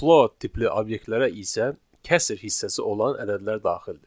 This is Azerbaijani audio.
Float tipli obyektlərə isə kəsr hissəsi olan ədədlər daxildir.